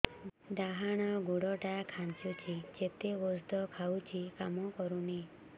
ଡାହାଣ ଗୁଡ଼ ଟା ଖାନ୍ଚୁଚି ଯେତେ ଉଷ୍ଧ ଖାଉଛି କାମ କରୁନି